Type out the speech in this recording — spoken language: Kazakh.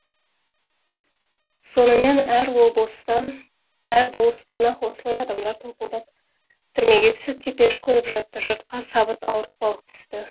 сонымен әр болыстан ақ осылай адамдар топылдап түрмеге түсіп теперіш көріп жатты жұртқа сабыт ауыртпалық түсті